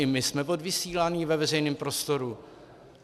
I my jsme odvysíláni ve veřejném prostoru.